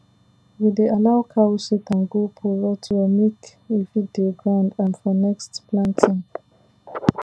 we dey allow cow shit and goat poo rot well make e feed the ground um for next planting